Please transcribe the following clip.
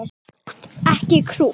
Krútt og ekki krútt.